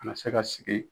Ka na se ka sigi